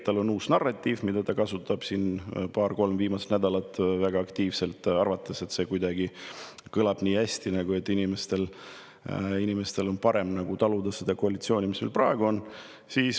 Tal on uus narratiiv, mida ta siin viimased paar-kolm nädalat on väga aktiivselt kasutanud, arvates, et see kõlab nii hästi, et inimesed seda koalitsiooni, mis meil praegu on.